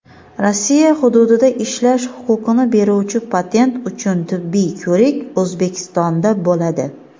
Rossiya hududida ishlash huquqini beruvchi patent uchun tibbiy ko‘rik O‘zbekistonda bo‘ladi.